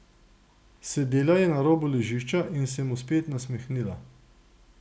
Sedela je na robu ležišča in se mu spet nasmehnila.